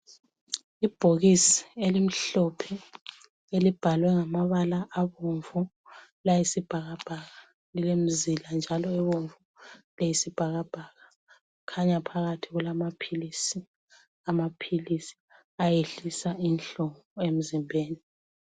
Ibhokisi elimhlophe elibhalwe ngamabala abomvu layisibhakabhaka .Elemizila njalo abomvu layisibhakabhaka, khanya phakathi kulamaphilisi, amaphilisi ayehlisa inhlungu emzimbeni.